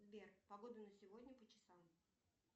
сбер погоду на сегодня по часам